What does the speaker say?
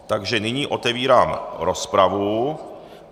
Takže nyní otevírám rozpravu.